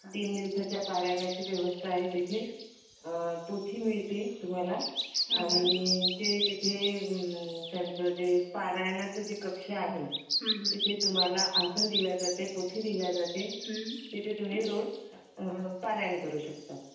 तीन दिवसाच्या पारायण व्यवस्था आहे तिथे आ पोथी मिळते तुम्हाला आणि जे तिथेले पारायणाच जे कक्ष आहे तिथे तुम्हला आसन दिला जाते पोथी दिली जाते तिथे तुम्ही रोज पारायण करू शकता.